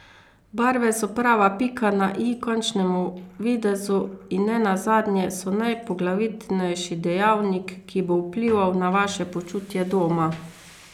Barve so prava pika na i končnemu videzu in ne nazadnje so najpoglavitnejši dejavnik, ki bo vplival na vaše počutje doma.